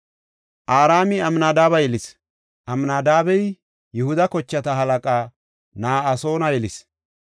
Araami Amnadaabe yelis. Amnadaabey Yihuda kochata halaqa Na7asoona yelis.